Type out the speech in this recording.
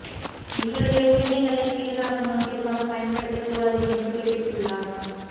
எங்களுடைய உரிமைகளை சுய லாப நோக்கிற்காக பயன்படுத்தக் கூடாது என்றும் குறிப்பிட்டுள்ளார்